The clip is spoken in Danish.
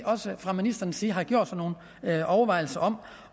også fra ministerens side har gjort sig nogle overvejelser om